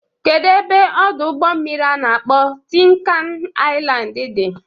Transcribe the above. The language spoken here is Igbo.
Kedu ebe Ọdụ ụgbọ mmiri a na-akpọ Tin kan Ailand dị?